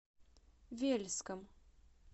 вельском